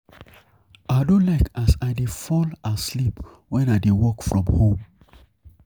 I dey save moni wen I dey work from home.